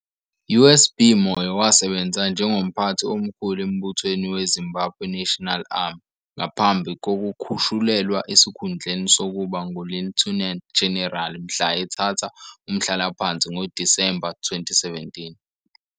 USB Moyo wasebenza njengomphathi omkhulu embuthweni weZimbabwe National Army, ngaphambi kokukhushulelwa esikhundleni sokuba nguLieutenant General mhla ethatha umhlalaphansi ngoDisemba 2017.